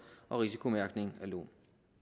og risikomærkning af lån